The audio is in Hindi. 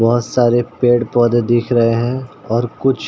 बहोत सारे पेड़ पौधे दिख रहे और कुछ--